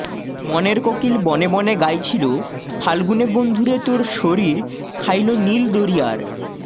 মনের কোকিল বনে বনে গাইছিল ফাল্গুনেবন্ধুরে তোর শরীর খাইলো নীল দরিয়ার